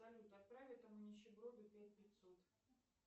салют отправь этому нищеброду пять пятьсот